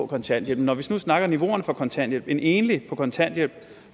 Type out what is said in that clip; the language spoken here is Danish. kontanthjælp når vi nu snakker om niveauerne for kontanthjælp at en enlig på kontanthjælp